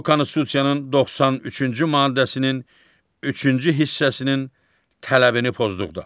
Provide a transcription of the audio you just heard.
Bu Konstitusiyanın 93-cü maddəsinin üçüncü hissəsinin tələbini pozduqda.